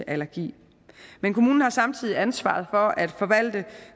allergi men kommunen har samtidig ansvaret for at forvalte